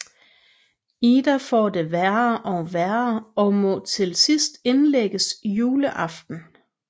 Ida får det værre og være og må til sidst indlægges juleaften